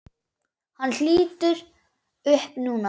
Hann lítur upp núna.